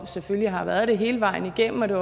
selvfølgelig har været det hele vejen igennem det